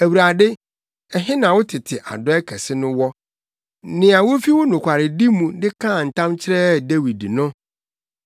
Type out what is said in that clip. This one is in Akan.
Awurade, ɛhe na wo tete adɔe kɛse no wɔ, nea wufi wo nokwaredi mu de kaa ntam kyerɛɛ Dawid no?